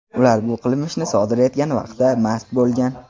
Ular bu qilmishni sodir etgan vaqtda mast bo‘lgan.